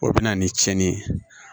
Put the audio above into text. O bɛ na ni cɛnni ye